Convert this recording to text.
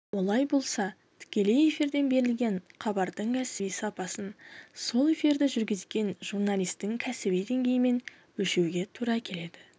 олай болса тікелей эфирден берілген хабардың кәсіби сапасын сол эфирді жүргізген журналистің кәсіби деңгейімен өлшеуге тура келеді